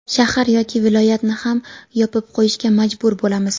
shahar yoki viloyatni ham yopib qo‘yishga majbur bo‘lamiz.